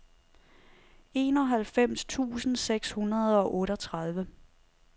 enoghalvfems tusind seks hundrede og otteogtredive